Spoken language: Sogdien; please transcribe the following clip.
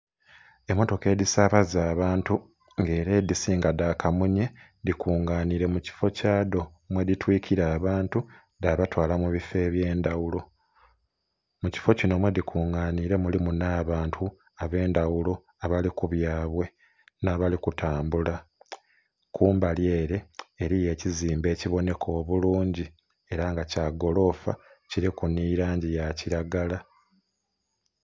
Emmotoka edhisaabaza abantu nga era edhisinga dha kamunye, dhikunganire mu kifo kya dho mwedhitwikira abantu dhabatwala mubifo eby'endhaghulo. Mu kifo kino mwedhikunganire mulimu nh'abantu ab'endhaghulo abali ku byabwe n'abali kutambula. Kumbali ere eriyo ekizimbe ekiboneka obulungi era nga kya golofa, kiriku nhi langi ya kiragala.